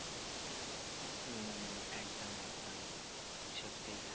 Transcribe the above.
হম একদম একদম সত্যিই তাই